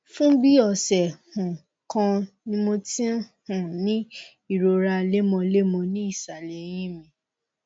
fún bí ọsẹ um kan ni mo ti ń um ní ìrora lemọlemọ ní ìsàlẹ èyìn mi